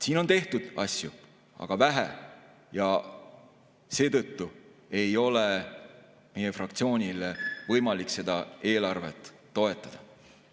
Siin on asju tehtud, aga vähe, ja seetõttu ei ole meie fraktsioonil võimalik seda eelarvet toetada.